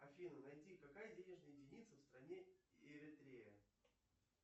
афина найди какая денежная единица в стране эритрея